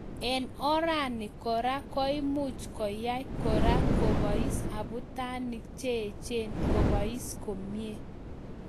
Eng orani kora koimuch koyai kora kopais abutanic cheechen kopais komie